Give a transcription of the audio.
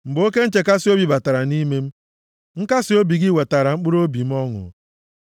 Mgbe oke nchekasị obi batara nʼime m, nkasiobi gị wetara mkpụrụobi m ọṅụ.